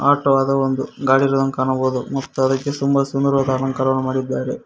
Auto ಅದ ಒಂದು ಗಾಡಿರುವುದನ್ನು ಕಾಣಬಹುದು ಮತ್ತು ಅದಕ್ಕೆ ಸುಂದರವಾದ ಅಲಂಕಾರವನ್ನು ಮಾಡಿದ್ದಾರೆ.